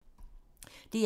DR1